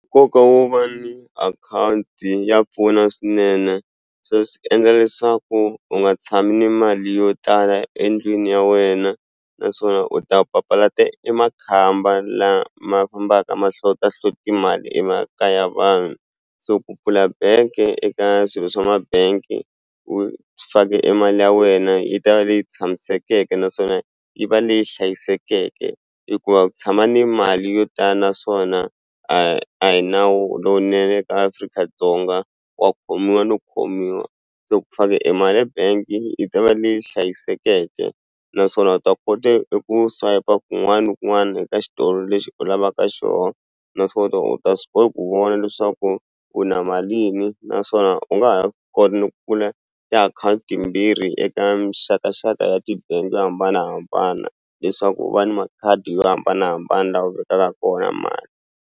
Nkoka wo va ni akhawunti ya pfuna swinene se swi endla leswaku u nga tshami ni mali yo tala endlwini ya wena naswona u ta papalata emakhamba lama fambaka ma hlota hloti mali emakaya vanhu so ku pfula bank-e eka swilo swa ma-bank u fake e mali ya wena yi ta va leyi tshamisekeke naswona yi va leyi hlayisekeke hikuva ku tshama ni mali yo naswona a a hi nawu lowunene eka Afrika-Dzonga wa khomiwa no khomiwa so ku fake emali ebank-i yi ta va leyi hlayisekeke naswona u ta kote eku swayipa kun'wana ni kun'wani eka xitolo lexi u lavaka xoho u ta u ta swi kota ku vona leswaku u na malini naswona u nga ha swi kota ni ku pfula tiakhawunti timbirhi eka mixakaxaka ya ti-bank-i to hambanahambana leswaku u va ni makhadi yo hambanahambana la u vekaka kona mali.